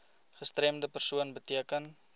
gestremde persoon beteken